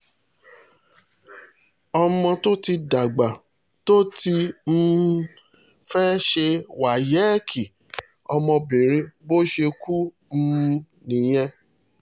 ọmọ tó ti dàgbà tó ti um fẹ́ẹ́ ṣe wáyéèkì ọmọbìnrin bó ṣe kú um nìyẹn